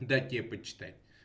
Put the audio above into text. дать тебе почитать